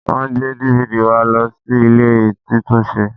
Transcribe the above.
Wọ́n gbé DVD wa lọ sí ilé títúnṣe